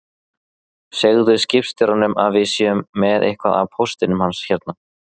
Segðu skipstjóranum að við séum með eitthvað af póstinum hans hérna